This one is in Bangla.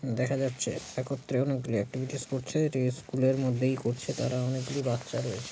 দেখা যাচ্ছে একত্রে অনেক গুলি এক্টিভিটিস করেছে। এটি স্কুল -এর মধ্যেই করছে তারা অনেক গুলি বাচ্চা রয়েছ--